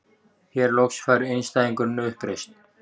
Hér loks fær einstæðingurinn uppreisn.